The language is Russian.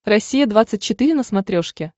россия двадцать четыре на смотрешке